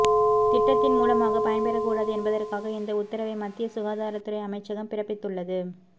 திட்டத்தின் மூலமாக பயன்பெறக்கூடாது என்பதற்காக இந்த உத்தரவை மத்திய சுகாதாரத்துறை அமைச்சகம் பிறப்பத்துள்ளது